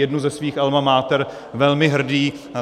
jednu ze svých alma mater velmi hrdý.